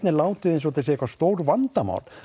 er látið eins og þetta sé eitthvað stórvandamál